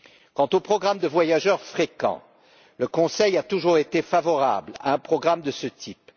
Quant au programme de voyageurs fréquents, le Conseil a toujours été favorable à un programme de ce type.